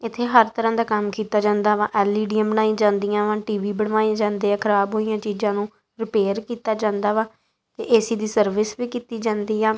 ਇਥੇ ਹਰ ਤਰ੍ਹਾਂ ਦਾ ਕੰਮ ਕੀਤਾ ਜਾਂਦਾ ਵਾ ਐਲ ਈ ਡੀਆ ਬਣਾਈ ਜਾਂਦੀਆਂ ਵਾ ਟੀ ਵੀ ਬਣਵਾਏ ਜਾਂਦੇ ਆ ਖਰਾਬ ਹੋਈਆਂ ਚੀਜ਼ਾਂ ਨੂੰ ਰਿਪੇਅਰ ਕੀਤਾ ਜਾਂਦਾ ਏ ਸੀ ਦੀ ਸਰਵਿਸ ਵੀ ਕੀਤੀ ਜਾਂਦੀ ਆ।